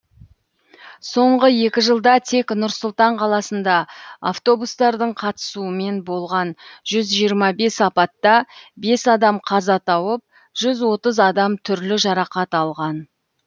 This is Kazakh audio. соңғы екі жылда тек нұр сұлтан қаласында автобустардың қатысуымен болған жүз жиырма бес апатта бес адам қаза тауып жүз отыз адам түрлі жарақат алған